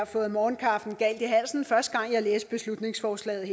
fået morgenkaffen galt i halsen første gang jeg læste beslutningsforslaget